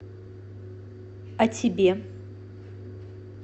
а тебе